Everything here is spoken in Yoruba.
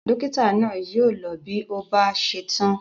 Dọ́kítá náà yóò lọ bí ó bá ṣe tán.